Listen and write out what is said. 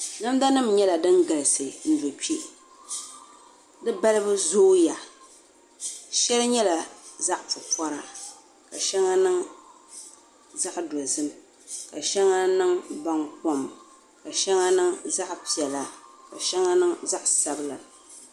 Namda nim nyɛla din galisi n do kpɛ di balibu zooya shɛli nyɛla zaɣ pupori ka shɛli niŋ zaɣ dozim ka shɛŋa niŋ baŋkom ka shɛŋa niŋ zaɣ piɛla ka shɛŋa niŋ zaɣ sabila